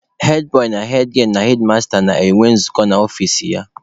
Hedbọị na hedgielụ na hedmasta na-enwe nzukọ n'ọfici ya.